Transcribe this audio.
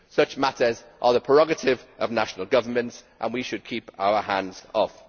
Such matters are the prerogative of national governments, and we should keep our hands off.